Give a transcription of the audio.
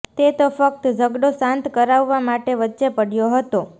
તે તો ફક્ત ઝઘડો શાંત કરાવવા માટે વચ્ચે પડ્યો હતો